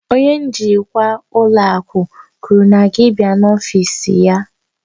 Onye njikwa ụlọ akụ kwuru na gị bịa n'ọfịs ya